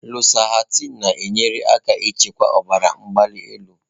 Lọsahtanị na-enyere aka ịchịkwa ọbara mgbali elu.